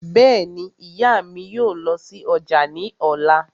Bẹ́ẹ̀ni, ìyá mi yóò lọ sí ọjà ní ọ̀la